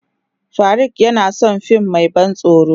Farauk yana son fim mai ban tsoro.